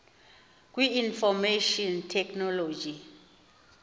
kwi information technology